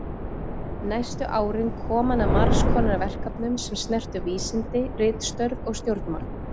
Næstu árin kom hann að margs konar verkefnum sem snertu vísindi, ritstörf og stjórnmál.